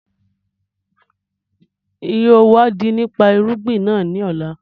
Ń yìí ó wà di nípa irúgbìn náà ńi ọ̀la